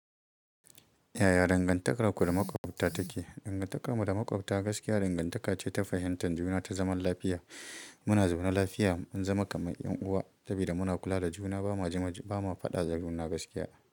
Yaya dangantakarku da maƙwabta take? Dangantakarmu da maƙwabta gaskiya dangantaka ce ta fahimtar juna ta zaman lafiya. Muna zaune lafiya, mun zama kamar 'yan uwa saboda muna kula da juna ba ma fada da juna gaskiya.